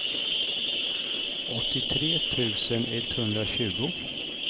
åttiotre tusen etthundratjugo